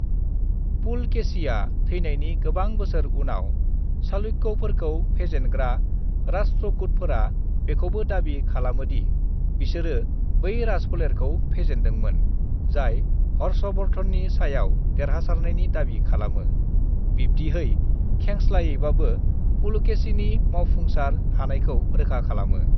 "पुलकेशीआ थैनायनि गोबां बोसोर उनाव चालुक्यफोरखौ फेजेनग्रा राष्ट्रकूटफोरा बेखौबो दाबि खालामोदि बिसोरो बै राजफोलेरखौ फेजेन्दोंमोन जाय हर्षवर्धननि सायाव देरहासारनायनि दाबि खालामो, बिब्दिहै खेंस्लायैबाबो पुलकेशीनि मावफुंसार हानायखौ रोखा खालामो।"